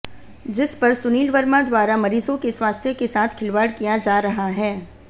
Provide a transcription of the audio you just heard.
जिस पर सुनील वर्मा द्वारा मरीजों के स्वास्थ्य के साथ खिलवाड़ किया जा रहा है